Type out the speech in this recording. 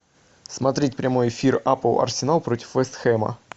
смотреть прямой эфир апл арсенал против вест хэма